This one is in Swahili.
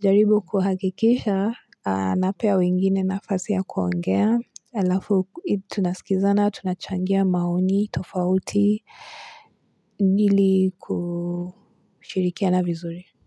jaribu kuhakikisha anapea wengine nafasi ya kuongea alafu tunasikizana tunachangia maoni tofauti ili kushirikiana vizuri.